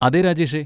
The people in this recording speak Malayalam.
അതെ, രാജേഷേ.